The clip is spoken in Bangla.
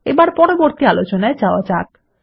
এবার পরবর্তী আলোচনায় যাওয়া যাক